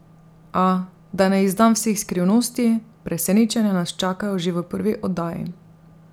A, da ne izdam vseh skrivnosti, presenečenja nas čakajo že v prvi oddaji.